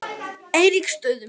Eiríksstöðum